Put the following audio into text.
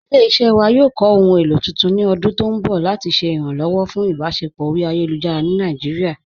Ilẹ̀-iṣẹ́ wa yóò kọ́ ohun èlo tuntun ni ọ̀dún tó nbọ̀ lati ṣẹ̀ iránlọ́wọ̀ pẹ̀lú ìbáṣẹpọ̀ ọ̀ri ayélujára ni Naijíríà.